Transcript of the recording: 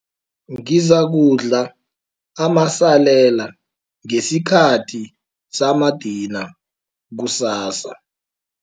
Ngizakudla amasalela ngesikhathi samadina kusasa.